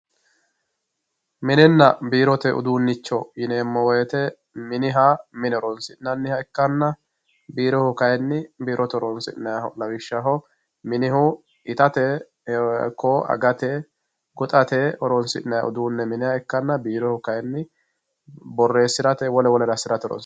Minina biirote uduunicho yinemo woyite miniha mine horonsinaniha ikkana biiroyihu kayini biirote horonsinayiho lawishshaho minihu itate ikko agate goxate horonsinayi uduune miniha ikana biiroyihu boreesirate wole wolere asirate horonsi